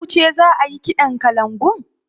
Yauce za ayi kiɗan kalangun?